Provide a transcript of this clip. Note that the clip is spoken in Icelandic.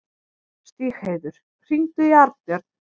Stígheiður, hringdu í Arnbjörn.